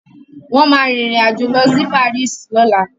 Wọ́n ma rìn rìn àjò lọ sí Paris lọ́la